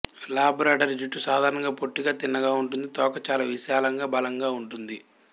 Labrador జుట్టు సాధారణంగా పొట్టిగా తిన్నగా ఉంటుంది తోక చాలా విశాలంగా బలంగా ఉంటుంది